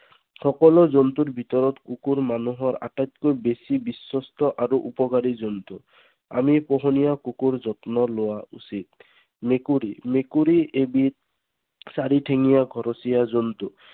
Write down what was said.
সকলো জন্তুৰ ভিতৰৰ কুকুৰ মানুহৰ আটাইতকৈ বেছি বিশ্বষ্ঠ আৰু উপকাৰী জন্তু। আমি পোহনীয়া কুকুৰৰ যত্ন লোৱা উচিত। মেকুৰী। মেকুৰী এবিধ চাৰিঠেঙীয়া ঘৰচীয়া জন্তু।